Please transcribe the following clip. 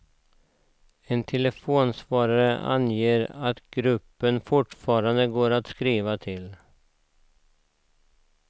En telefonsvarare anger att gruppen fortfarande går att skriva till.